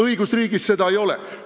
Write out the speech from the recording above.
Õigusriigis seda kõike ei ole.